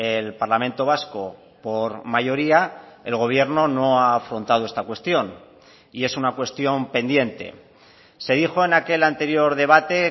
el parlamento vasco por mayoría el gobierno no ha afrontado esta cuestión y es una cuestión pendiente se dijo en aquel anterior debate